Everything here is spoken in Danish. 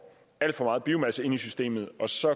alt for meget biomasse ind i systemet så